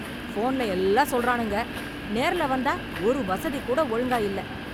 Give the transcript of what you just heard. போன்ல எல்லாம் சொல்றனுங்க, நேர்ல வந்தா ஒரு வசதி கூட ஒழுங்கா இல்ல